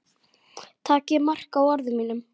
Takið mark á orðum mínum.